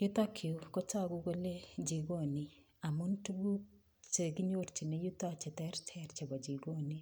Yutokyu kotogu kone jikoni, amun tukuk chekinyorchini yutok cheterter chebo jikoni.